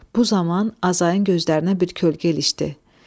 Bu zaman Azayın gözlərinə bir kölgə ilişdi.